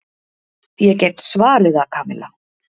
Ég get svarið það, Kamilla.